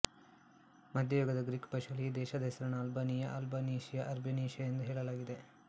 ಮಧ್ಯಯುಗದ Greek ಭಾಷೆಯಲ್ಲಿ ಈ ದೇಷದ ಹೆಸರನ್ನು ಅಲ್ಬಾನಿಯಅಲ್ಬನೀಶಿಯ ಅರ್ಬನಿಶೀಯ ಎಂದು ಹೇಳಲಾಗಿದೆ